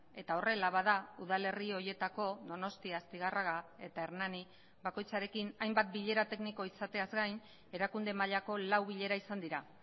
eta horrela bada udalerri horietako donostia astigarraga eta hernani bakoitzarekin hainbat bilera tekniko izateaz gain erakunde mailako lau bilera izan dira